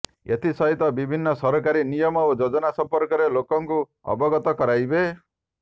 ଏଥିସହିତ ବିଭିନ୍ନ ସରକାରୀ ନିୟମ ଓ ଯୋଜନା ସମ୍ପର୍କରେ ଲୋକଙ୍କୁ ଅବଗତ କରାଇବେ